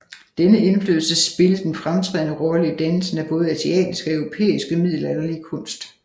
Denne indflydelse spillet en fremtrædende rolle i dannelsen af både asiatiske og europæiske middelalderlige kunst